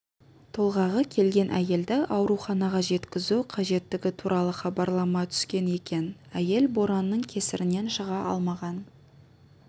толғағы келген әйелді ауруханаға жеткізу қажеттігі туралы хабарлама түскен екен әйел боранның кесірінен шыға алмаған